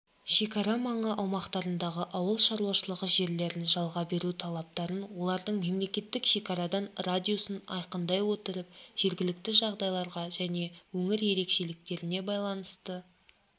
шекара маңы аумақтарындағы ауыл шаруашылығы жерлерін жалға беру талаптарын олардың мемлекеттік шекарадан радиусын айқындай отырып жергілікті жағдайларға және өңір ерекшеліктеріне байланысты